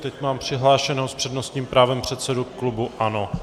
Teď má přihlášeného s přednostním právem předsedu klubu ANO.